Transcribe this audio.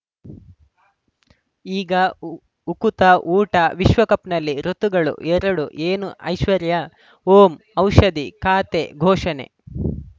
ಈಗ ಉ ಉಕುತ ಊಟ ವಿಶ್ವಕಪ್‌ನಲ್ಲಿ ಋತುಗಳು ಎರಡು ಏನು ಐಶ್ವರ್ಯಾ ಓಂ ಔಷಧಿ ಖಾತೆ ಘೋಷಣೆ